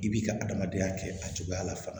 I b'i ka adamadenya kɛ a cogoya la fana